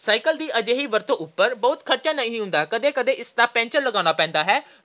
cycle ਦੀ ਅਜਿਹੀ ਵਰਤੋਂ ਉਪਰ ਬਹੁਤ ਖਰਚਾ ਨਹੀਂ ਹੁੰਦਾ। ਕਦੇ-ਕਦੇ ਉਸਦਾ ਪੈਂਚਰ ਲਗਾਉਣਾ ਪੈਂਦਾ ਹੈ।